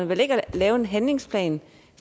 vel ikke at lave en handlingsplan